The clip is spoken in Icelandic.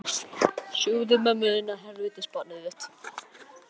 En er hann besti fótboltamaður þjóðarinnar frá upphafi?